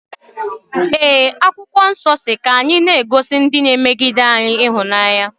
E, akwokwo nso si ka anyi na-agosi ndi na emegide anyi.